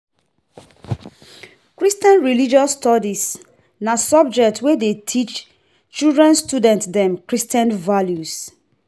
Christian Religious Studies na subject wey dey teach children student dem Christian values.